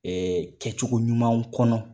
Ɛɛ kɛcogo ɲuman kɔnɔ